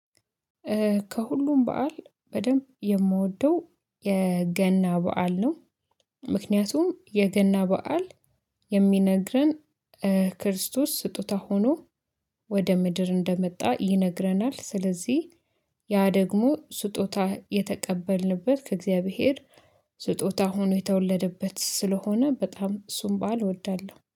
ከሁሉም በዓል በደንብ የምወደው የገና በዓል ነው። ምክንያቱም የገና በዓል የሚነግረን ክርስቶስ ስጦታ ሆኖ ወደ ምድር እንደመጣ ይነግረናል። ስለዚህ ያ ደግሞ ስጦታ የተቀበልንበት ከእግዚአብሔር ስጦታ ሆኖ የተወለደበት ስለሆነ በጣም እሱን ባዓል እወዳለሁ